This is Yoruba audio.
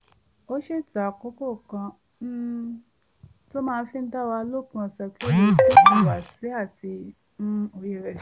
ó ṣètò àkókò kan um tó máa fi dá wà lópin ọ̀sẹ̀ kó lè tún ìhùwàsí àti um òye rẹ̀ ṣe